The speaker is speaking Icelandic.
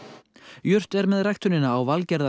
jurt er með ræktunina á